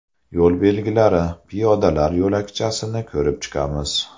Yo‘l belgilari, piyodalar yo‘lakchasini ko‘rib chiqamiz.